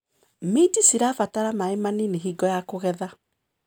Minji cirabatara maĩ manini hingo ya kũgetha.